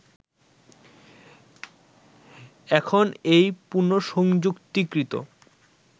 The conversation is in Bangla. এখন এই পুনঃসংযুক্তিকৃত